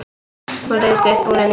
Hún ryðst upp úr henni.